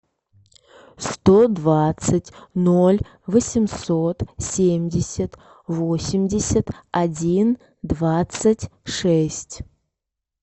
сто двадцать ноль восемьсот семьдесят восемьдесят один двадцать шесть